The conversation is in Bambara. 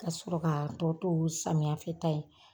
Kasɔrɔ k'a tɔ to samiyafɛta ye